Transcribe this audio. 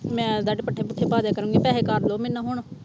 ਮੈਂ ਤੁਹਾਡੇ ਪੱਠੇ ਪੁੱਠੇ ਪਾ ਦਿਆ ਕਰੂੰਗੀ ਪੈਸੇ ਕਰ ਦਿਓ ਮੈਨੂੰ ਹੁਣ।